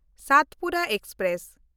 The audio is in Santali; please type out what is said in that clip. ᱥᱟᱛᱯᱩᱨᱟ ᱮᱠᱥᱯᱨᱮᱥ